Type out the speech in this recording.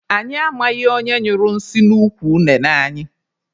Anyị amaghị onye nyụrụ nsị n'ukwu unene anyị.